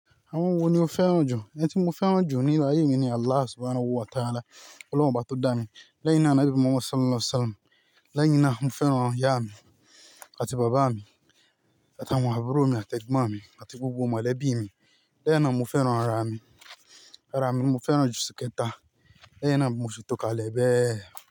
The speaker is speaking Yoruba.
Àwọn wo ni o fẹ́ràn jù? Àwọn tí mo fẹ́ràn jù ní ayé mi ni Allah Subhanahu wa Ta'ala, Ọlọ́run Ọba tọ́ dá mi, lẹ́yìn náà, Nabi Muhammad Sallallahu Alaihi Wasallam, lẹ́yìn náà, mo fẹ́ràn ìyá mi àti bàbá mi, àti àwọn àbúrò mi àti ẹ̀gbọ́n mi, àti gbogbo mọ̀lẹ́bí mi. Lẹ́yìn náà, mo fẹ́ràn ara mi. Ara mi mo fẹ́ràn jù ṣìkẹ̀ta. Lẹ́yìn náà, mo fẹ́ tò kalẹ̀ bẹ́ẹ̀.